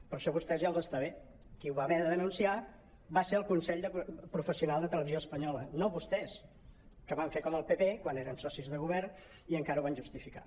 però això a vostès ja els està bé qui ho va haver de denunciar va ser el consell professional de televisió espanyola no vostès que van fer com el pp quan eren socis de govern i encara ho van justificar